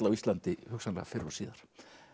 á Íslandi hugsanlega fyrr og síðar